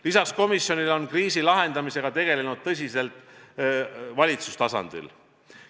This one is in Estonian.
Lisaks komisjonile on kriisi lahendamisega tegeletud tõsiselt valitsuse tasandil.